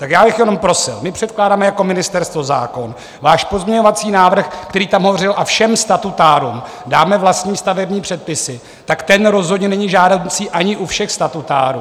Tak já bych jenom prosil: my předkládáme jako ministerstvo zákon, váš pozměňovací návrh, který tam hovořil: A všem statutárům dáme vlastní stavební předpisy, tak ten rozhodně není žádoucí ani u všech statutárů.